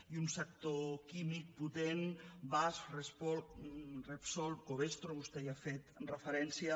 i un sector químic potent basf repsol covestro vostè hi ha fet referència